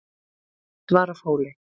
Svarfhóli